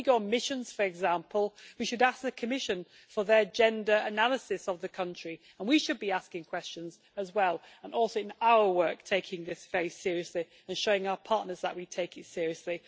When we go on missions, for example, we should ask the Commission for their gender analysis of the country, and we should be asking questions as well, and also in our work, taking this very seriously and showing our partners that we take it seriously.